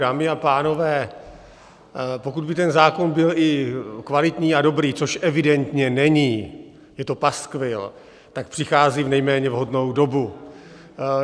Dámy a pánové, pokud by ten zákon byl i kvalitní a dobrý, což evidentně není, je to paskvil, tak přichází v nejméně vhodnou dobu.